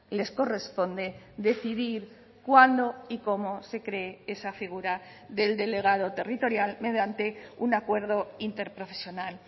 les corresponde decidir cuándo y cómo se cree esa figura del delegado territorial mediante un acuerdo interprofesional